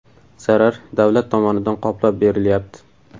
Zarar davlat tomonidan qoplab berilyapti.